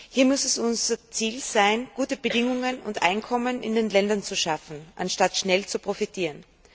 Hier muss es unser Ziel sein, gute Bedingungen und Einkommen in den Ländern zu schaffen, anstatt schnell zu profitieren.